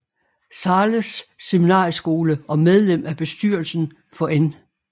Zahles Seminarieskole og medlem af bestyrelsen for N